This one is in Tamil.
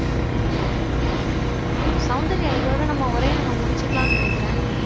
அஹ் சௌந்தர்யா இதோட நம்ம உரையை நம்ம முடிச்சுக்கலாம்னு நினைக்கிறேன்